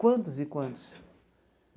Quantos e quantos?